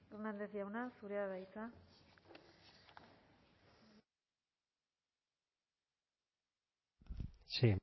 hernández jauna zurea da hitza sí